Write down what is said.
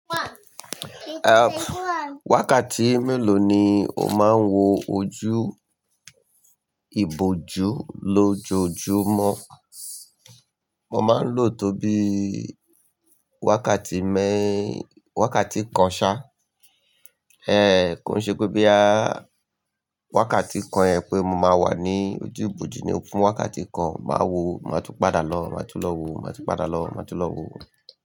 Eh, wakati mélòó ni o máa ń wo ojú ìbòjú lójoojúmọ́? Mo máa ń lò ó tó bí wakati mẹ́-- wakati kan ṣá. Eh, ko n ṣe pé bo ya wakati kan ẹ pé mo máa wà ní ojú ìbòjú ni ó fún wakati kan, màá wo, màá tún padà lọ, màá tún lọ wo, màá tún padà lọ, màá tún lọ wo.